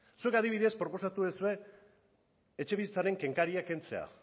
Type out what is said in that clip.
zuek adibidez proposatu duzue etxebizitzaren kenkaria kentzea